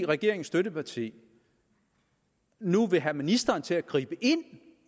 regeringens støtteparti nu vil have ministeren til at gribe ind